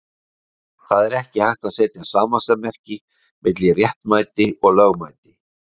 Það er ekki hægt að setja samasemmerki milli réttmæti og lögmæti.